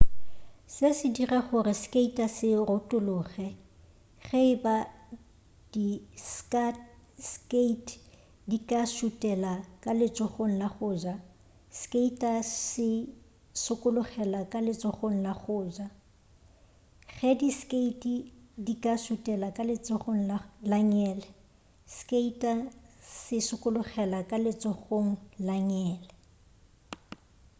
se se dira gore skater se retologe ge eba di skate di ka šutela ka letsogong la go ja skater se sokologela ka letsogong la go ja ge di skate di ka šutela ka letsogong la ngele skater se sokologela ka letsogong la ngele